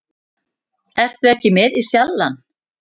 Ertu ekki með í Sjallann?